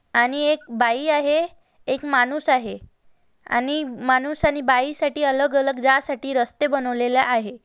आणि एक बाई आहे एक माणूस आहे आणि माणूस आणि बाईसाठी अलग-अलग जा साठी रस्ते बनविले आहेत.